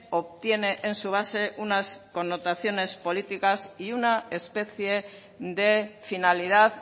obtiene en su base unas connotaciones políticas y una especie de finalidad